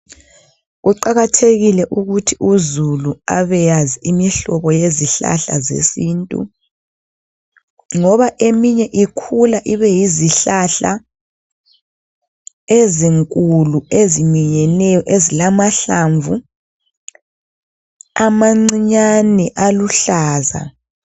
Kuqakathekile ukuthi uzulu abeyazi imihlobo yezihlahla zesintu. Ngoba eminye ikhula ibe yizihlahla, ezinkulu eziminyeneyo ezilamahlamvu amancinyane aluhlaza.